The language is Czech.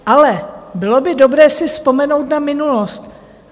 Ale bylo by dobré si vzpomenout na minulost.